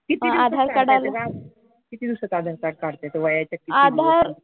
किती दिवसात काढता येतं ग आधार? किती दिवसात आधार कार्ड काढता येतं वयाच्या किती दिवसात?